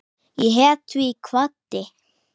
Ég hét því og kvaddi.